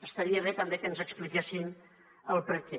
estaria bé també que ens n’expliquessin el perquè